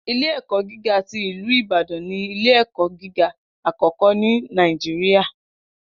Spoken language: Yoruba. Ilẹ̀-ẹ̀kọ̀ gígá tí Ilú Ìbàdàn ni ilẹ̀-ẹ̀kọ̀ gígá akọ́kọ́ ni Naijiria.